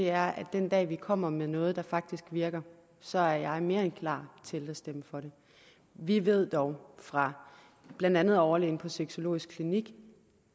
er at den dag vi kommer med noget der faktisk virker så er jeg mere end klar til at stemme for det vi ved dog fra blandt andet overlægen på sexologisk klinik